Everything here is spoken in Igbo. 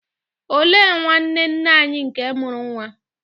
Olee nwanne nne anyi nke mụrụ nwa?